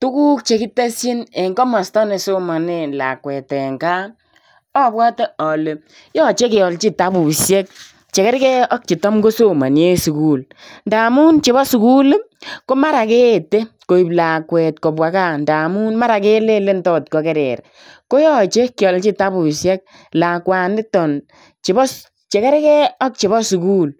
Tuguk chekitesyin en komosto nesomonen lakwet en gaa obwote ole yoche keolji kitabusiek chekerkei ak chetam kosomi en sukul. Ndamun chebo sukul komara keete koib lakwet kobwa gaa ndamun mara kelelen tot kokerer. Koyoche kiolji kitabusiek lakwaniton chebo chekerkei ak chebo sukul